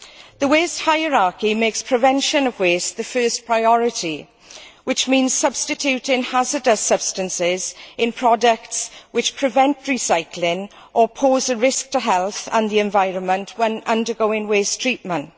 The waste hierarchy makes prevention of waste the first priority, which means substituting hazardous substances in products which prevent recycling or pose a risk to health and the environment when undergoing waste treatment.